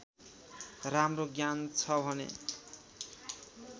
राम्रो ज्ञान छ भने